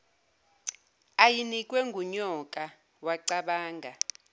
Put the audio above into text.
ayinikwe ngunyoka wacabanga